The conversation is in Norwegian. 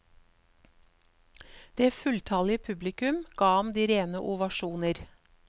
Det fulltallige publikum ga ham de rene ovasjoner.